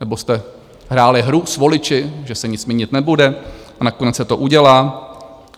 Nebo jste hráli hru s voliči, že se nic měnit nebude, a nakonec se to udělá?